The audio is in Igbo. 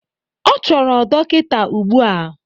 Ọ chọrọ dọkịta ugbu a!